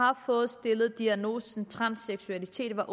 har fået stillet diagnosen transseksualitet var